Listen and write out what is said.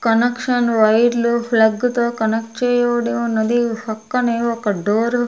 connection వైర్లు plug తో connect చేయబడి ఉన్నది పక్కనే ఒక డోర్ ఉ--